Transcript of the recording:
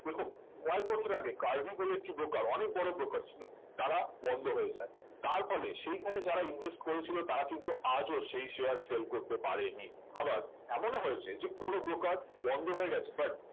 দেখুন কয়েক বছর আগে কার্ভি বলে একটি broker অনেক বড় broker ছিল তারা বন্ধ হয়ে যায় তার ফলে সেখানে যারা invest করেছিল তারা কিন্তু আজও সেই share fail করতে পারেনি আবার এমনও হয়েছে যে কোনো broker বন্ধ হয়ে গেছে but